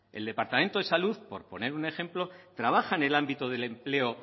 el departamento de salud por poner un ejemplo trabaja en el ámbito del empleo